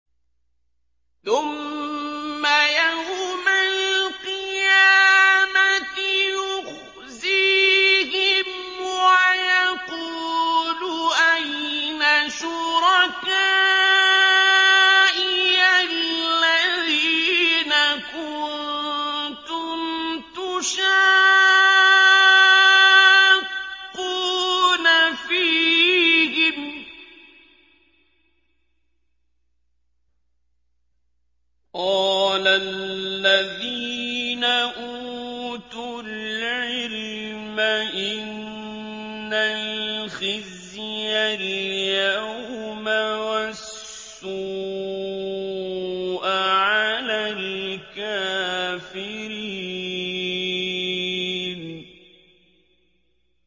ثُمَّ يَوْمَ الْقِيَامَةِ يُخْزِيهِمْ وَيَقُولُ أَيْنَ شُرَكَائِيَ الَّذِينَ كُنتُمْ تُشَاقُّونَ فِيهِمْ ۚ قَالَ الَّذِينَ أُوتُوا الْعِلْمَ إِنَّ الْخِزْيَ الْيَوْمَ وَالسُّوءَ عَلَى الْكَافِرِينَ